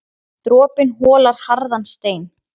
Dropinn holar harðan stein.